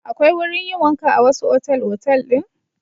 Akwai wurin yin wanka a wasu otal-otal din.